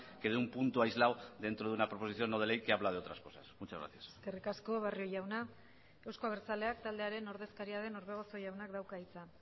que de un punto aislado dentro de una proposición no de ley que habla de otras cosas muchas gracias eskerrik asko barrio jauna euzko abertzaleak taldearen ordezkaria den orbegozo jaunak dauka hitza